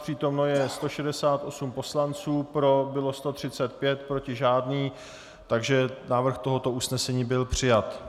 Přítomno je 168 poslanců, pro bylo 135, proti nikdo, takže návrh tohoto usnesení byl přijat.